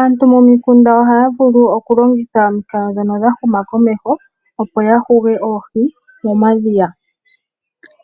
Aantu momikunda ohaya longitha omikalo ndhoka dhahuma komeho opo yahuge oohi momadhiya.